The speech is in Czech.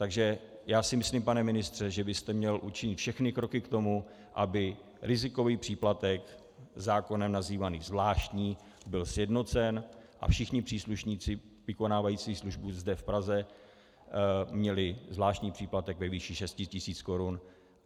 Takže já si myslím, pane ministře, že byste měl učinit všechny kroky k tomu, aby rizikový příplatek, zákonem nazývaný zvláštní, byl sjednocen a všichni příslušníci vykonávající službu zde v Praze měli zvláštní příplatek ve výši 6 tisíc korun.